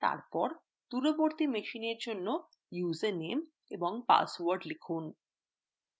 তারপর দূরবর্তী machineএর জন্য username ও password লিখুন